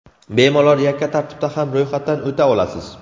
Bemalol yakka tartibda ham ro‘yxatdan o‘ta olasiz.